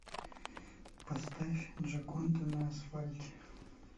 поставь джоконда на асфальте